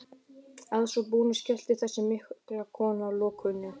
Að svo búnu skellti þessi mikla kona lokunni.